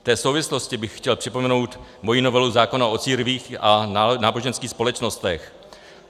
V té souvislosti bych chtěl připomenout moji novelu zákona o církvích a náboženských společnostech.